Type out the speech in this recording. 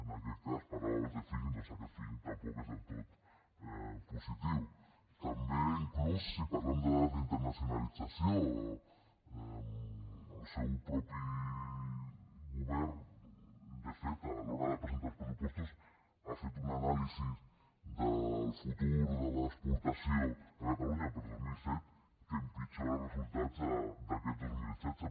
en aquest cas parlava abans de feeling també inclús si parlem de dades d’internacionalització el seu propi govern de fet a l’hora de presentar els pressupostos ha fet una anàlisi del futur de l’exportació a catalunya per a dos mil disset que empitjora resultats d’aquest dos mil setze